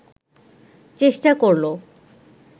চেষ্টা করল